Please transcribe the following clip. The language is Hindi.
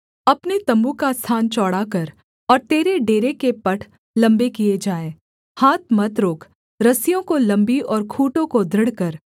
अपने तम्बू का स्थान चौड़ा कर और तेरे डेरे के पट लम्बे किए जाएँ हाथ मत रोक रस्सियों को लम्बी और खूँटों को दृढ़ कर